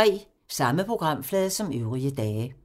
Samme programflade som øvrige dage